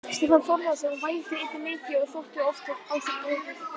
Stefán Þórðarson vældi einnig mikið og þótti oft á sér brotið.